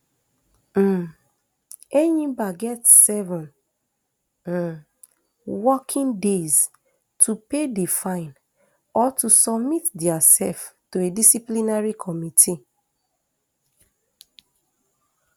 um enyimba get seven um working days to pay di fine or to submit diasef to a disciplinary committee